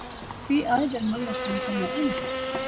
Því æðir manneskjan svona um?